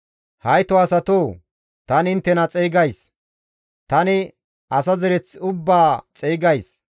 hayto asatoo! Tani inttena xeygays; tani asa zereth ubbaa xeygays.